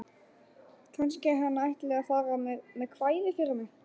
Kannski hann ætli að fara með kvæði fyrir mig.